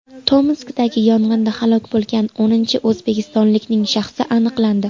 Tomskdagi yong‘inda halok bo‘lgan o‘ninchi o‘zbekistonlikning shaxsi aniqlandi.